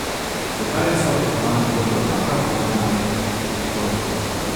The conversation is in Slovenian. Zakaj je vsota zunanjih kotov enaka polnemu kotu?